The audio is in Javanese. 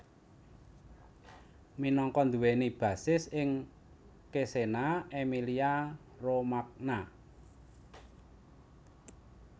Minangka nduwèni basis ing Cesena Emilia Romagna